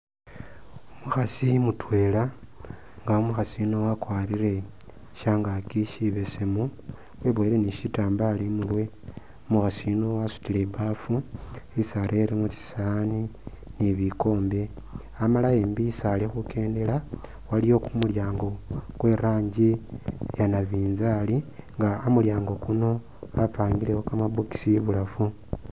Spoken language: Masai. Umukhasi mutwela inga umukhasi yuno wakwarire shangaki shibesemu wibowele ni shitambalo imurwe , umukhasi yuno wasutile ibafu isi arelemo tsisowani ni bikombe amala imbi isi ali khukendela waliwo kumyango kwe’rangi iya nabinzali inga amulyango kuno bapangilewo kama box ibulafu.